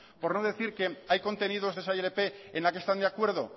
por no decir que hay contenidos de esa ilp en la que están de acuerdo